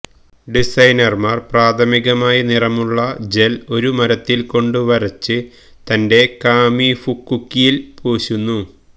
ഡിസൈനർമാർ പ്രാഥമികമായി നിറമുള്ള ജെൽ ഒരു മരത്തിൽ കൊണ്ട് വരച്ച് തന്റെ കാമിഫുക്കുക്കിയിൽ പൂശുന്നു